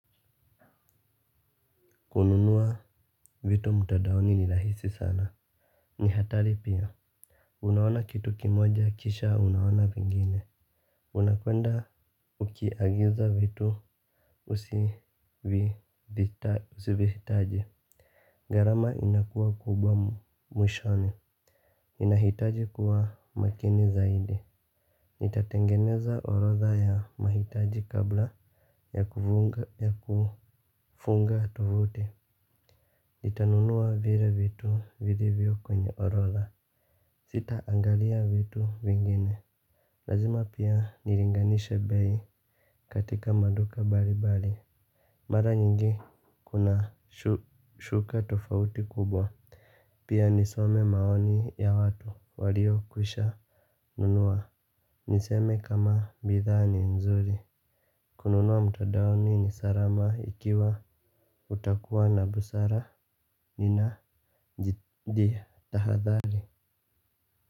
Kununua vitu mtandaoni ni rahisi sana. Ni hatari pia. Unaona kitu kimoja kisha unaona vingine. Unapoenda ukiagiza vitu usivihitaji. Gharama inakuwa kubwa mwishoni. Inahitaji kuwa makini zaidi. Itatengeneza orodha ya mahitaji kabla ya kufunga tovuti. Itanunuwa vile vitu vilivyo kwenye orodha. Sita angalia vitu vingine. Lazima pia nilinganishe bei katika maduka mbali mbali. Mara nyingi kuna shuka tofauti kubwa. Pia nisome maoni ya watu walio kwisha nunua. Niseme kama bidhaa ni nzuri. Kununuwa mtandaoni ni salama ikiwa utakua na busara nina jitahadhari.